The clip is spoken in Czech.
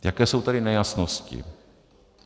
Jaké jsou tady nejasnosti?